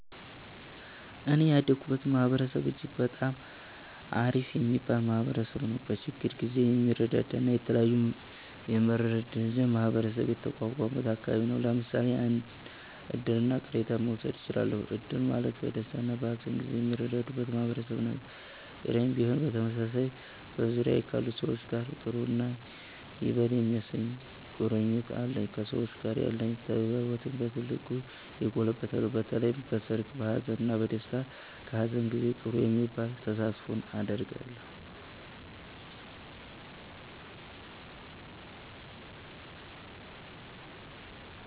እኔ ያደኩበት ማህበረሰብ እጅግ በጣም አሪፍ የሚባል ማህበረሰብ ነዉ። በችግር ጊዜ የሚረዳዳ እና የተለያዩ የመረዳጃ ማህበር የተቋቋመበት አከባቢ ነው። ለምሳሌ እድርና ቅሬን መዉሰድ እችላለን። እድር ማለት በደስታና በሀዘን ጊዜ የሚረዳዱበት ማህበር ነው፤ ቅሬም ቢሆን በተመሳሳይ። በዙሪያዬ ካሉ ሰዎች ጋር ጥሩ እና ይበል የሚያሰኝ ቁርኝት አለኝ። ከሰዎች ጋር ያለኝ ተግባቦትም በ ትልቁ የጎለበተ ነው። በተለይም በሰርግ፣ በሃዘን፣ በ ደስታ እና በሃዘን ጊዜ ጥሩ የሚባል ተሳትፎ አደርጋለሁ።